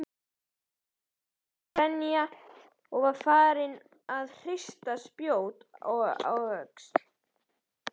Þorsteinn grenja og var farinn að hrista spjót og öxi.